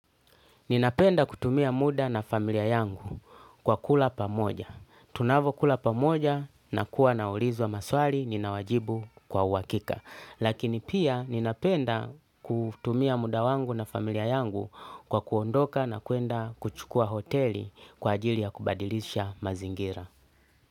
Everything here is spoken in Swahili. Ninapenda kutumia muda na familia yangu kwa kula pamoja. Tunavyokula pamoja nakuwa naulizwa maswali ninawajibu kwa uhakika. Lakini pia ninapenda kutumia muda wangu na familia yangu kwa kuondoka na kwenda kuchukua hoteli kwa ajili ya kubadilisha mazingira.